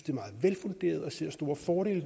er meget velfunderet og ser store fordele